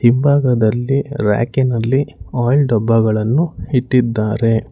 ಹಿಂಭಾಗದಲ್ಲಿ ರ್ಯಕಿನಲ್ಲಿ ಆಯಿಲ್ ಡಬ್ಬಗಳನ್ನು ಇಟ್ಟಿದ್ದಾರೆ.